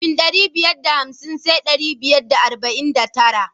Kafin ɗari biyar da hamsin sai ɗari biyar da arba'in da tara.